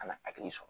A na hakili sɔrɔ